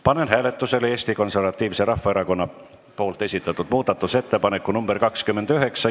Panen hääletusele Eesti Konservatiivse Rahvaerakonna esitatud muudatusettepaneku nr 29.